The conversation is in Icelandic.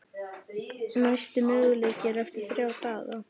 Næsti möguleiki er eftir þrjá daga.